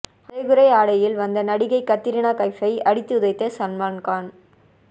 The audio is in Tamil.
அரைகுறை ஆடையில் வந்த நடிகை கத்ரினா கைப்பை அடித்து உதைத்த சல்மான்கான்